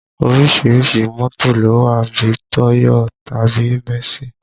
Orísìírísìí mọ́tò ló wà bí i Toyo tàbí mẹ̀sí